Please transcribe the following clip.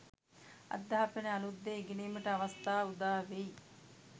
අධ්‍යාපනය අලූත් දේ ඉගෙනීමට අවස්ථා උදාවෙයි